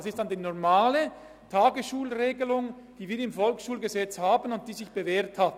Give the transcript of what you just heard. Dies ist dann die normale Tagesschulregelung, die wir im VSG haben und die sich bewährt hat.